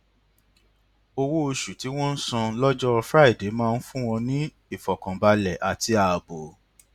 owó òṣù tí wọn ń san lójọ friday máa ń fún wọn ní ìfòkànbalè àti ààbò